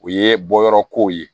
O ye bɔyɔrɔ kow ye